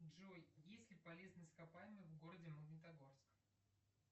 джой есть ли полезные ископаемые в городе магнитогорск